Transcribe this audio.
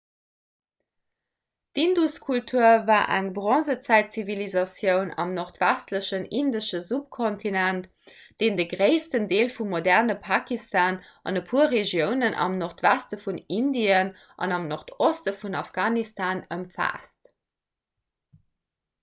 d'induskultur war eng bronzezäitzivilisatioun am nordwestlechen indesche subkontinent deen de gréissten deel vum moderne pakistan an e puer regiounen am nordweste vun indien an am nordoste vun afghanistan ëmfaasst